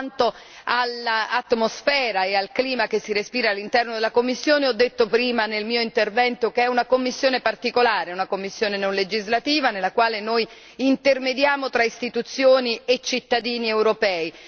Quanto all'atmosfera e al clima che si respira all'interno della commissione, ho detto prima nel mio intervento che è una commissione particolare una commissione non legislativa nella quale noi intermediamo tra istituzioni e cittadini europei.